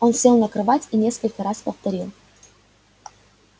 он сел на кровать и несколько раз повторил